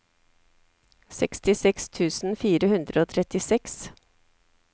sekstiseks tusen fire hundre og trettiseks